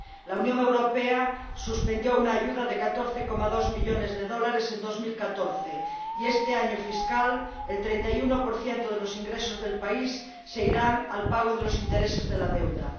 La Unión Europea suspendió una ayuda de 14,2 millones de dólares en 2014 y este año fiscal el 31 de los ingresos del país se destinará al pago de los intereses de la deuda.